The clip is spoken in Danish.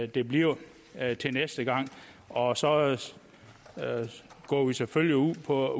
det bliver næste gang og så går vi selvfølgelig ud fra